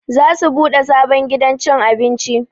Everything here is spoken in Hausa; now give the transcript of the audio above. Za su buɗe sabon gidan cin abinci